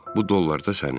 bu dollar da sənin.